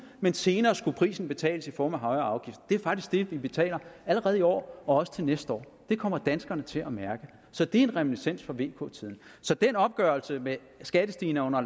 men senere skulle prisen betales i form af højere afgifter det er faktisk det vi betaler allerede i år og også til næste år det kommer danskerne til at mærke så det er en reminiscens fra vk tiden så den opgørelse med skattestigninger under